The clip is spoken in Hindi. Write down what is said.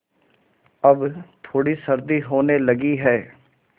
अब थोड़ी सर्दी होने लगी है